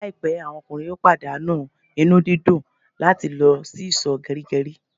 Laipẹ àwọn ọkùnrin yóò pàdánù inú dídùn làti lọ sì iso gerigeri